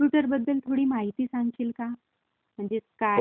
कम्प्युटरबद्दल थोडी माहिती सांगशील काय? म्हणजे काय..